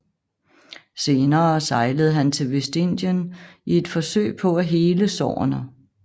Senere sejlede han til Vestindien i et forsøg på at hele sårene